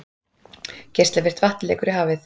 Geislavirkt vatn lekur í hafið